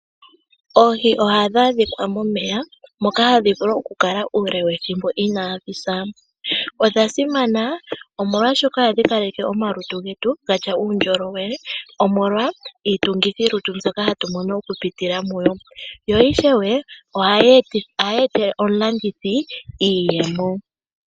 Oohi ohadhi adhika momeya moka hadhi vulu okukala ethimbo inaadhisa. Oohi odhasimana, oshoka ohadhipe omalutu getu uundjolowele omolwa iitungithilutu ndjoka ha yizi moohi dho ohadhi etele aalandithi iiyemo.